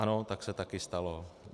- Ano, tak se také stalo.